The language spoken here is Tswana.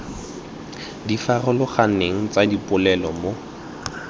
di farologaneng tsa dipolelo mo